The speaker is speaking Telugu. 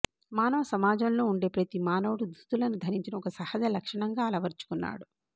మానవ సమాజంలో ఉండే ప్రతి మానవుడు దుస్తులను ధరించడం ఒక సహజ లక్షణంగా అలవరచుకున్నాడు